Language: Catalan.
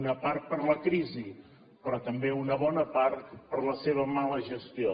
una part per la crisi però també una bona part per la seva mala gestió